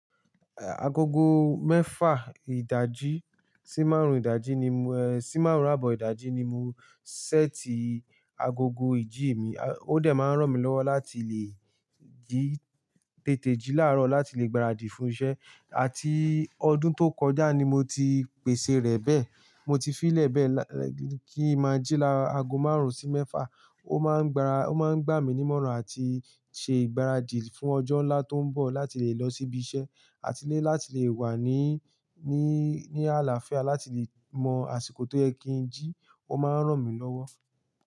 Eh, agogo mẹ́fà ìdajì sí márùn-ún ìdajì ni mo, eh, sí márùn-ún àbọ̀ ìdajì ni mo ṣẹ́ti agogo ìjí mi. O dé máa ń ràn mí lọ́wọ́ láti lè jí tètè jí láàárọ̀ láti lè gbaradì fún iṣẹ́. Àti ọdún tó kọjá ni mo ti pèsè rẹ̀ bẹ́ẹ̀. Mo ti fi í lẹ̀ bẹ́ẹ̀ kí i máa jí lá' ago márùn-ún sí mẹ́fà. Ó máa ń gbara, ó máa ń gbà mí ní ìmọ̀ràn àti ṣe ìgbáradì fún ọjọ́ ńlá tó ń bọ̀ láti lè lọ síbi iṣẹ́, àti lé láti lè wà ní, ní, ní àlàáfíà, láti lè mọ àsìkò tó yẹ kí n jí. Ó máa ń ràn mí lọ́wọ́